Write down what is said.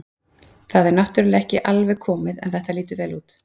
Þetta er náttúrulega ekki alveg komið en þetta lýtur vel út.